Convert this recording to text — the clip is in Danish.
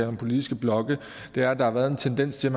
om politiske blokke er at der har været en tendens til